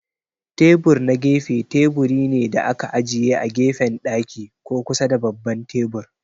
Tebur na gefe teburi ne da aka ajiye a gefen daki ko kusa da babban tebur.